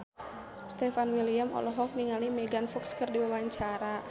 Stefan William olohok ningali Megan Fox keur diwawancara